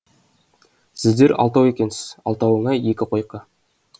сіздер алтау екенсіз алтауыңа екі койка